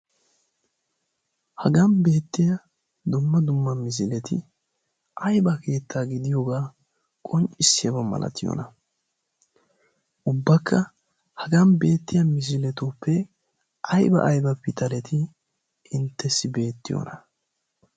Hagan beettiya dumma dumma misileti aybba keetta gidiyooga qonccisside de'iyoona? ubbakka haga beettiyaa misiletuppe aybba aybba pitaleti intessi beettiyoona?